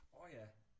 Orh ja